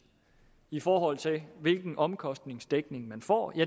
i forhold til hvilken omkostningsdækning man får